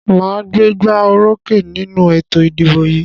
Màá gbégbá orókè nínú ètò ìdìbò yìí.